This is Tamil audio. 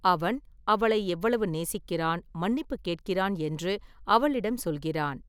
அவன் அவளை எவ்வளவு நேசிக்கிறான், மன்னிப்புக் கேட்கிறான் என்று அவளிடம் சொல்கிறான்.